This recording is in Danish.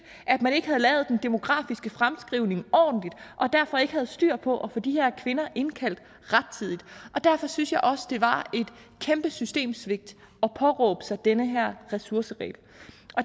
at man ikke havde lavet den demografiske fremskrivning ordentligt og derfor ikke havde styr på at få de her kvinder indkaldt rettidigt derfor synes jeg også det var et kæmpe systemsvigt at påberåbe sig den her ressourceregel